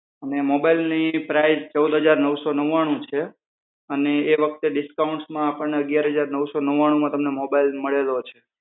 અને મોબાઈલની પ્રાઇસ ચૌદ હજાર નવસો નવ્વાણું છે, અને એ વખતે ડિસ્કાઉન્ટમાં આપણને અગિયાર હજાર નવસો નવ્વાણુમાં તમને મોબાઈલ મળેલો છે.